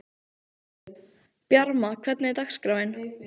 Bjarma, hvernig er dagskráin?